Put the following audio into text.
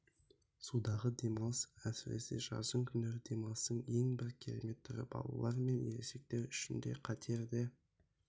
судағы демалыс әсіресе жаздың күндері демалыстың ең бір керемет түрі балалар мен ересектер үшін катерде